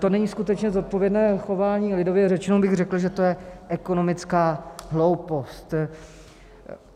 To není skutečně zodpovědné chování, lidově řečeno bych řekl, že to je ekonomická hloupost.